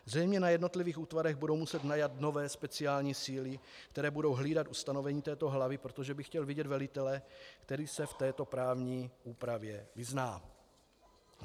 Zřejmě na jednotlivých útvarech budou muset najmout nové speciální síly, které budou hlídat ustanovení této hlavy, protože bych chtěl vidět velitele, který se v této právní úpravě vyzná.